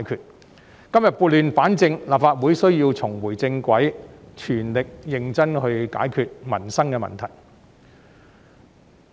我們今天撥亂反正，立法會需要重回正軌，全力認真地解決民生問題。